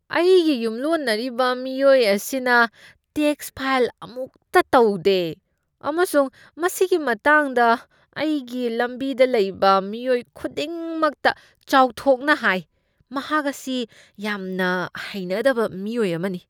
ꯑꯩꯒꯤ ꯌꯨꯝꯂꯣꯟꯅꯔꯤꯕ ꯃꯤꯑꯣꯏ ꯑꯁꯤꯅ ꯇꯦꯛꯁ ꯐꯥꯏꯜ ꯑꯃꯨꯛꯇ ꯇꯧꯗꯦ ꯑꯃꯁꯨꯡ ꯃꯁꯤꯒꯤ ꯃꯇꯥꯡꯗ ꯑꯩꯒꯤ ꯂꯝꯕꯤꯗ ꯂꯩꯕ ꯃꯤꯑꯣꯏ ꯈꯨꯗꯤꯡꯃꯛꯇ ꯆꯥꯎꯊꯣꯛꯅ ꯍꯥꯏ꯫ ꯃꯍꯥꯛ ꯑꯁꯤ ꯌꯥꯝꯅ ꯍꯩꯅꯗꯕ ꯃꯤꯑꯣꯏ ꯑꯃꯅꯤ꯫